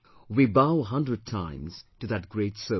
We bow a hundred times to that great soul